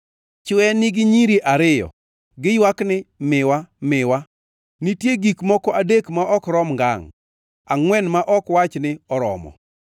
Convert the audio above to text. “Chwe nigi nyiri ariyo. Giywak ni, ‘Miwa! Miwa!’ “Nitie gik moko adek ma ok rom ngangʼ! Angʼwen ma ok wach ni, ‘Oromo!’